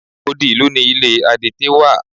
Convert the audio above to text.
Odi ìlú ni ilé adete wà.